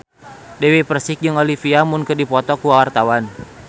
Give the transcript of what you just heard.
Dewi Persik jeung Olivia Munn keur dipoto ku wartawan